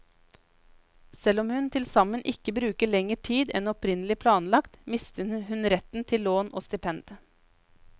Selv om hun tilsammen ikke bruker lenger tid enn opprinnelig planlagt, mister hun retten til lån og stipend.